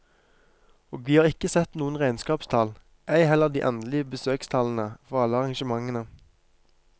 Og vi har ikke sett noen regnskapstall, ei heller de endelige besøkstallene for alle arrangementene.